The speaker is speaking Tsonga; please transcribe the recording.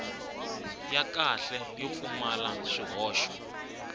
ya kahle yo pfumala swihoxo